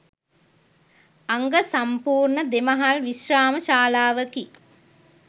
අංග සම්පූර්ණ දෙමහල් විශ්‍රාම ශාලාවකි.